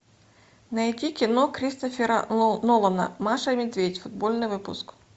найди кино кристофера нолана маша и медведь футбольный выпуск